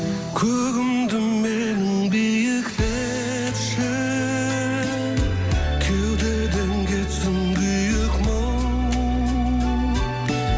көгімді менің биіктетші кеудеден кетсін күйік мұң